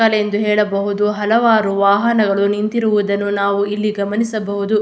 ಎಂದು ಹೇಳಬಹುದು ಹಲವಾರು ವಾಹನಗಳು ನಿಂತಿರುವುದನ್ನು ನಾವಿಲ್ಲಿ ಗಮನಿಸಬಹುದು.